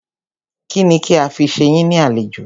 Kínni kí a fi ṣe yín ní àlejò?